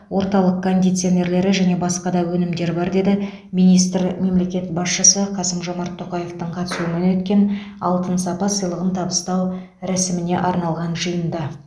орталық кондиционерлері және басқа да өнімдер бар деді министр мемлекет басшысы қасым жомарт тоқаевтың қатысуымен өткен алтын сапа сыйлығын табыстау рәсіміне арналған жиында